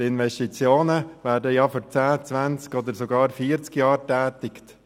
Die Investitionen werden für zehn, zwanzig oder sogar vierzig Jahre getätigt.